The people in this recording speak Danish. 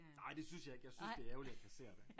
Nej det synes jeg ikke jeg synes det er ærgerligt at kassere det